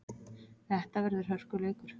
Þetta verður hörkuleikur!